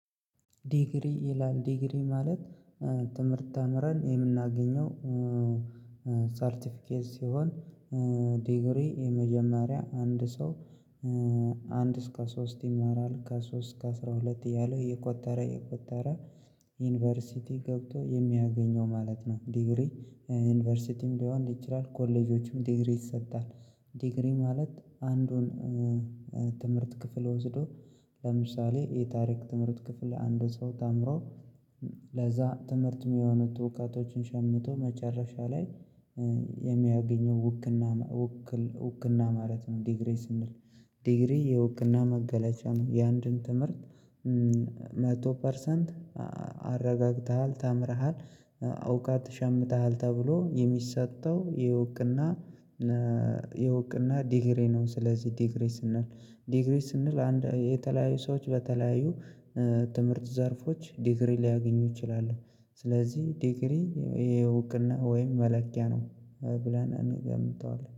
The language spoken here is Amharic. ዲግሪ ይላል ዲግሪ ማለት። ትምህርት ተምረን የምናገኘው ሳርቲፊኬት ሲሆን። ዲግሪ የመጀመሪያ አንድ ሰው። ከአንድ እስከ ሶስት ይማራል ከሶስት እስከ አስራ ሁለት እያለ እየቆጠረ እየቆጠረ። ዩኒቨርሲቲ ገብቶ የሚያገኘው ማለት ነው። ዲግሪ ዩኒቨርሲቲም ሊሆን ይችላል ኮሌጆችም ዲግሪ ይሰጣል። ዲግሪ ማለት አንዱን። ትምህርት ክፍል ወስዶ ለምሳሌ የታሪክ ትምህርት ክፍል አንድ ሰው ተምሮ። ለዛ ትምህርት የሚሆኑት እውቀቶችን ሸምቶ መጨረሻ ላይ የሚያገኘው ውክና ውክልና ማለት ነው። ዲግሪ ስንል ዲግሪ የእዉክና መገለጫ ነው። የአንድን ትምህርት መቶ ፐርሰንት አረጋግተሃል ተምረሃል እውቀት ሸምተሃል ተብሎ የሚሰጠው የእውቅና የእውቅና ዲግሪ ነው። ስለዚህ ዲግሪ ስንል ዲግሪ ስንል አንድ የተለያዩ ሰዎች በተለያዩ ትምህርት ዘርፎች ዲግሪ ሊያገኙ ይችላሉ። ስለዚህ ዲግሪ ይሄ እውቅና ወይም መለኪያ ነው ብለን እንገምተዋለን